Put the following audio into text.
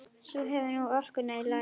Sú hefur nú orkuna í lagi!